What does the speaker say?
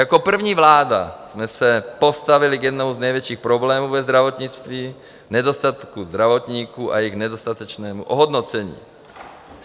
Jako první vláda jsme se postavili k jednomu z největších problémů ve zdravotnictví, nedostatků zdravotníků a jejich nedostatečnému ohodnocení.